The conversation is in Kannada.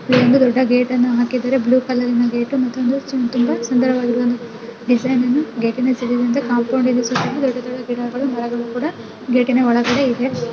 ಇಲ್ಲೊಂದು ದೊಡ್ಡ ಗೇಟ್ ಅನ್ನು ಕೂಡ ಹಾಕಿದ್ದಾರೆ ಅದು ಬ್ಲೂ ಕಲರ್ ತುಂಬಾ ಸುಂದರವಾಗಿ ಕಾಣುತ್ತಿದೆ. ಕಾಂಪೌಂಡಿನ ಸುತ್ತಲೂ ದೊಡ್ಡ ದೊಡ್ಡ ಗಿಡಗಳು ಮರಗಳು ಕೂಡ ಗೇಟಿ ನ ಒಳಗಡೆ--